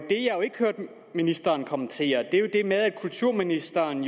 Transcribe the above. ikke hørte ministeren kommentere var jo det med at kulturministeren